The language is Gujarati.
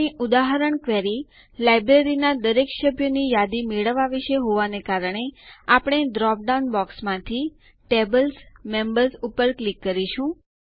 આપણી ઉદાહરણ ક્વેરી લાઈબ્રેરીના દરેક સભ્યોની યાદી મેળવવા વિષે હોવાને કારણે આપણે ડ્રોપ ડાઉન બોક્સમાંથી Tables મેમ્બર્સ ઉપર ક્લિક કરીશું